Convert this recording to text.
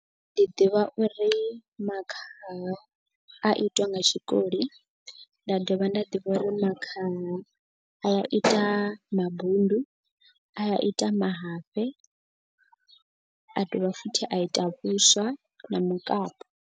Ndi ḓivha uri makhaha a itwa nga tshikoli nda dovha nda ḓivha uri makhaha a ya a ita mabundu a ita mahafhe a dovha futhi a ita vhuswa na mukapu.